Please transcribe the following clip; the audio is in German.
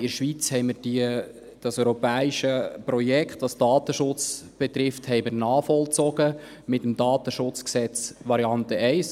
In der Schweiz haben wir mit dem Bundesgesetz über den Datenschutz (DSG), Variante 1, das europäische Projekt, das den Datenschutz betrifft, nachvollzogen.